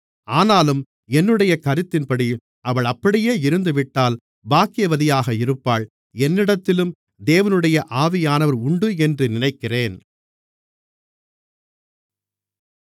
ஆனாலும் என்னுடைய கருத்தின்படி அவள் அப்படியே இருந்துவிட்டால் பாக்கியவதியாக இருப்பாள் என்னிடத்திலும் தேவனுடைய ஆவியானவர் உண்டு என்று நினைக்கிறேன்